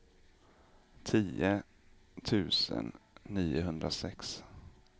tio tusen niohundrasex